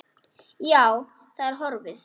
Já, það er horfið.